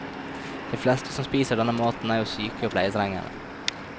De fleste som spiser denne maten, er jo syke og pleietrengende.